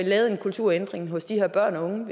lavet en kulturændring hos de her børn og unge